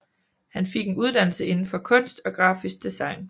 Han fik en uddannelse indenfor kunst og grafisk design